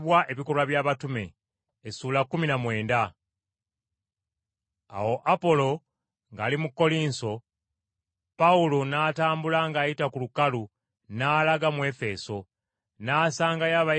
Awo Apolo ng’ali mu Kkolinso, Pawulo n’atambula ng’ayita ku lukalu n’alaga mu Efeso. N’asangayo abayigirizwa bangiko,